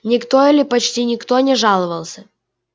никто или почти никто не жаловался